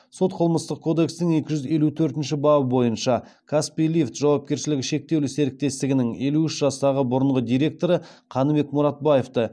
сот қылмыстық кодекстің екі жүз елу төртінші бабы бойынша каспий лифт жауапкершілігі шектеулі серіктестігінің елу үш жастағы бұрынғы директоры қаныбек мұратбаевты